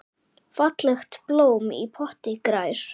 Fallegt blóm í potti grær.